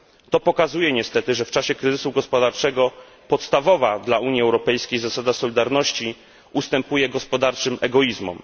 To pokazuje niestety, że w czasie kryzysu gospodarczego podstawowa dla Unii Europejskiej zasada solidarności ustępuje gospodarczym egoizmom.